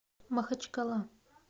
махачкала